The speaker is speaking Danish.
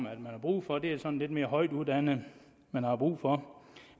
at man har brug for det er sådan lidt mere højtuddannede man har brug for